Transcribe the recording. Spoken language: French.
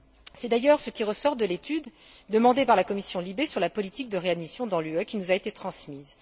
C'est d'ailleurs ce qui ressort de l'étude, demandée par la commission LIBE sur la politique de réadmission dans l'UE, qui nous a été transmise.